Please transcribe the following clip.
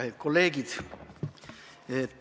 Kallid kolleegid!